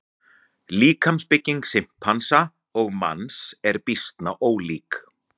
Líkamsbygging simpansa og manns er býsna ólík.